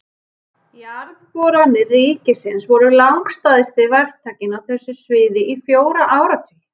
Jarðboranir ríkisins voru langstærsti verktakinn á þessu sviði í fjóra áratugi.